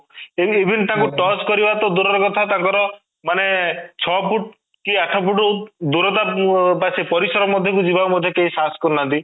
ଏମିତି even ତାଙ୍କୁ touch କରିବା ତ ବଡ ଦୂର ର କଥା ତାଙ୍କର ମାନେ ଛଅ ଫୂଟ କି ଆଠ ଫୂଟ ଦୂରତା ବା ଓ ସେ ପରିସର ମଧ୍ୟ କୁ ଯିବାକୁ ମଧ୍ୟ କେହି ସାହସ କରୁନାହାନ୍ତି